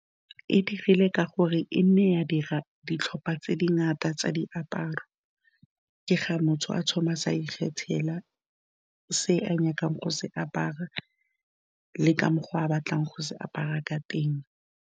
E digile ka gore e nne ya dira ditlhopha tse dingata tsa diaparo, ke ga motho a thoma a ikgethela se a nyakang go se apara le ka mokgwa a batlang go se apara ka teng.